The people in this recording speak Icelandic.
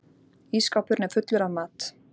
Ísskápurinn er fullur af mat.